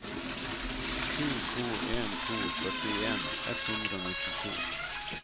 sju to en to førtien ett hundre og nittito